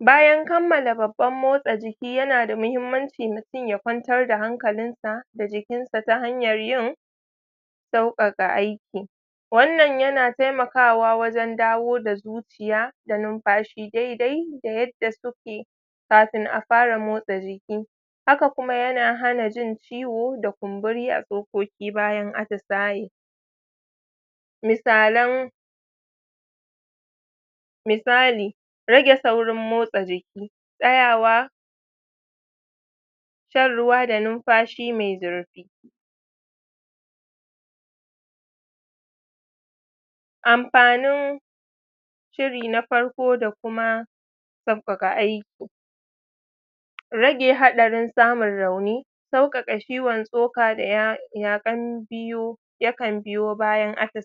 bayan kammala babban motsa jiki yana da muhimmanci mutun ya kwantar da hankalin sa da jikin sa ta hanyar yin sauƙaƙa aiki wannan yana taimakawa wajen dawo da zuciya da numfashi daidai da yadda suke kafin a fara motsa jiki haka kuma yana hana jin ciwo da kumburi a tsokoki bayan atisaye misalan misali rage saurin motsa jiki tsayawa shan ruwa da numfashi mai zurfi ampanin shiri na farko da kuma sauƙaƙa aiki rage haɗarin samun rauni sauƙaƙa ciwan tsoka da ya yaƙan biyu yakan biyo bayan atisaye